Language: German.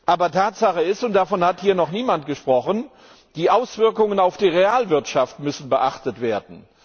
Aber Tatsache ist und davon hat hier noch niemand gesprochen Die Auswirkungen auf die Realwirtschaft müssen beachtet werden.